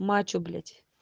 мачо блять